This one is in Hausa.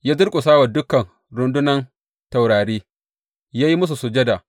Ya durƙusa wa dukan rundunan taurari ya yi musu sujada.